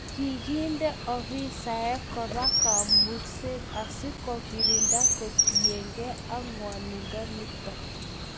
Kiginde afisaek Koba kamungset asikogirinda kotinyekei ak ngoiyondinoto